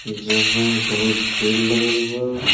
जहाँ बहोत भीड़ लगल बा।